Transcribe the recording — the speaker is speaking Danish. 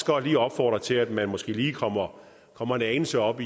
godt opfordre til at man måske lige kommer kommer en anelse op